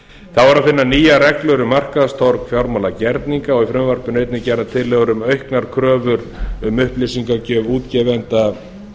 er að finna nýjar reglur um markaðstorg fjármálagerninga og í frumvarpinu er einnig gerðar tillögur um auknar kröfur um upplýsingagjöf útgefenda